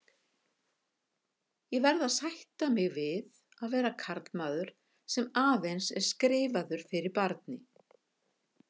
Ég verð að sætta mig við að vera karlmaður, sem aðeins er skrifaður fyrir barni.